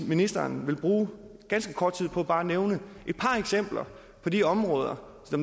ministeren ville bruge ganske kort tid på bare at nævne et par eksempler på de områder